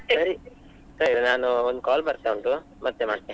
ಸರಿ ಸರಿ ನಾನು ಒಂದು call ಬರ್ತಾ ಉಂಟು ಮತ್ತೆ ಮಾಡ್ತೆ.